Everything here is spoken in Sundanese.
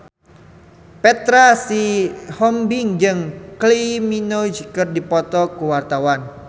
Petra Sihombing jeung Kylie Minogue keur dipoto ku wartawan